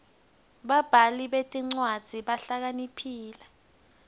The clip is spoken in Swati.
babhali betincwadzi bahlakaniphile